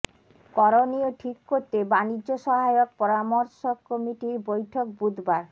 করণীয় ঠিক করতে বাণিজ্য সহায়ক পরামর্শক কমিটির বৈঠক বুধবার